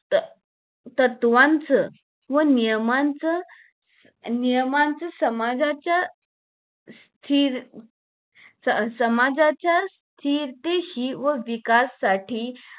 त तत्वांचा व नियमांचं नियमाचा समाजाचा फिर समाजाचा कीर्ती साठी व विकासाससाठी